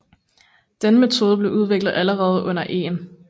Denne metode blev udviklet allerede under 1